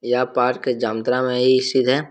यह पार्क जामताड़ा में ही स्थित हैं।